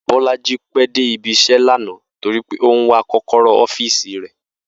Bó̩lájí pé̩ dé ibi-is̩é̩ lánàá torí pé ó ń wá kó̩kó̩ró̩ ó̩fíìsì rè̩